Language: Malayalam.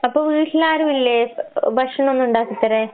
അപ്പ വീട്ടിലാരുവില്ലേ എ എ ഭക്ഷണോന്നും ഇണ്ടാക്കിത്തരാൻ?